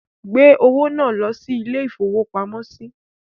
Gbé owó náà lọ ilé-ìfowópamọ́sí!